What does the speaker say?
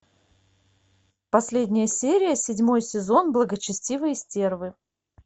последняя серия седьмой сезон благочестивые стервы